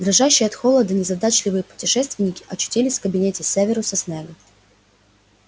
дрожащие от холода незадачливые путешественники очутились в кабинете северуса снегга